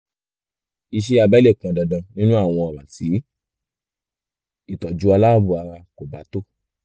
iṣẹ́ abẹ lè pọn dandan nínú àwọn ọ̀ràn tí ìtọ́jú aláàbọ̀ ara kò bá tó